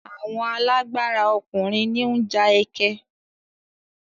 Àwọn alágbára ọkùnrin ní ń ja ẹkẹ.